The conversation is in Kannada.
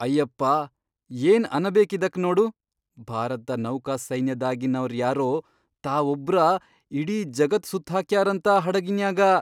ಅಯ್ಯಪ್ಪಾ ಏನ್ ಅನಬೇಕ್ ಇದಕ್ಕ್ ನೋಡು ಭಾರತ್ದ ನೌಕಾಸೈನ್ಯದಾಗಿನವರ್ ಯಾರೋ ತಾವೊಬ್ರ ಇಡೀ ಜಗತ್ ಸುತ್ತ್ಹಾಕ್ಯಾರಂತ ಹಡಗಿನ್ಯಾಗ.